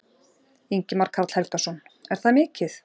Ingimar Karl Helgason: Er það mikið?